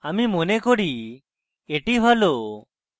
আমি মনে করি এটি ভালো